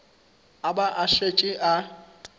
a ba a šetše a